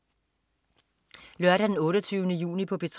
Lørdag den 28. juni - P3: